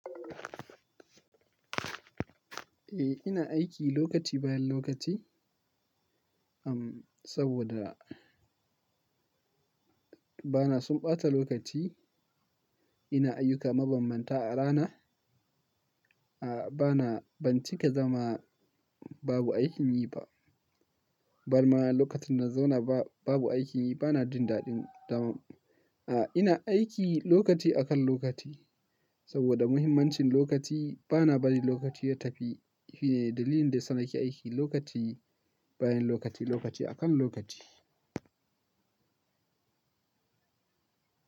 Eh, ina aiki lokaci bayan lokaci, am, saboda bana son ɓata lokaci. Ina ayyuka mabambanta a rana. A'a, bana, ban cika zama babu aikin yi ba. Barma lokacin na zauna ba-babu aikin yi bana jin daɗin daman. A'a, ina aiki lokaci akan lokaci saboda muhimmancin lokaci. Bana bari lokaci ya tafi. Shine dalilin da yana sa nake aiki lokaci bayan lokaci, lokaci akan lokaci.